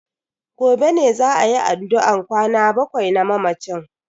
Gobe ne za ayi addu'an kwana bakwai na mamacin.